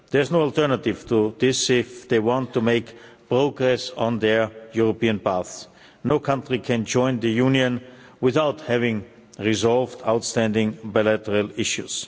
There is no alternative to this if they want to make progress on their European paths. No country can join the Union without having resolved outstanding bilateral issues.